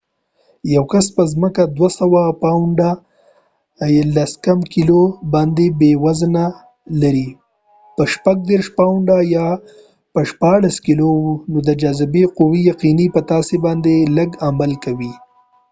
یو کس په ځمکه 200 پاونډه 90کېلو وزن لري په لو loباندي به یې وزن 36 پاونډه 16 کېلو وي. نو د جاذبی قوه یقینی په تا سی باندي لږ عمل کوي